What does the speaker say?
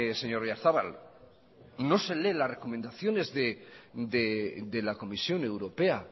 señor oyarzabal no se lee las recomendaciones de la comisión europea